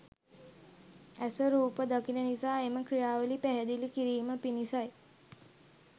ඇස රූප දකින නිසා එම ක්‍රියාවලිය පැහැදිළි කිරීම පිණිසයි